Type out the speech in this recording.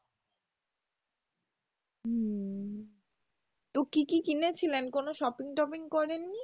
কী কী কিনেছিলেন কোনো shopping টপিং করেননি?